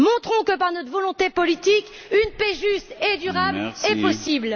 Montrons que, par notre volonté politique, une paix juste et durable est possible!